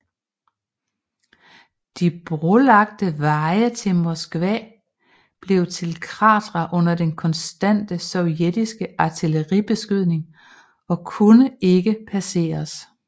De brolagte veje til Moskva blev til kratere under den konstante sovjetiske artilleribeskydning og kunne ikke passeres